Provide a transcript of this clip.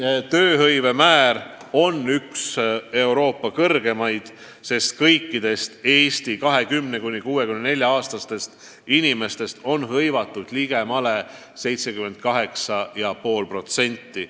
Eesti tööhõive määr on üks Euroopa kõrgeimaid: kõikidest 20–64-aastastest inimestest on meil hõivatud ligemale 78,5%.